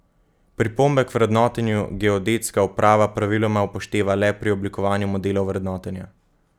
Pripombe k vrednotenju geodetska uprava praviloma upošteva le pri oblikovanju modelov vrednotenja.